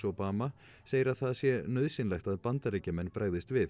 Obama segir að það sé nauðsynlegt að Bandaríkjamenn bregðist við